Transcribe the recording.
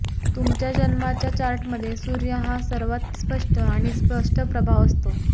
तुमच्या जन्माच्या चार्टमध्ये सूर्य हा सर्वांत स्पष्ट आणि स्पष्ट प्रभाव असतो